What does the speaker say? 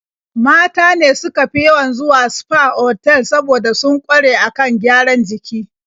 Mata ne suka fi yawan zuwa sfa otal saboda sun ƙware a kan gyaran jiki.